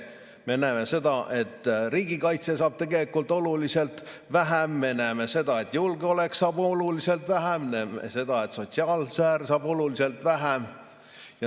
Me näeme seda, et riigikaitse saab tegelikult oluliselt vähem, me näeme seda, et julgeolek saab oluliselt vähem, me näeme seda, et sotsiaalsfäär saab oluliselt vähem.